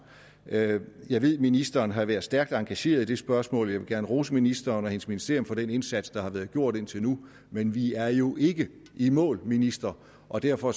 jeg jeg ved at ministeren har været stærkt engageret i det spørgsmål og jeg vil gerne rose ministeren og hendes ministerium for den indsats der har været gjort indtil nu men vi er jo ikke i mål ministeren og derfor